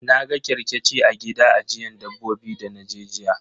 Na ga kerkeci a gida ajiyan dabbobi dana je jiya.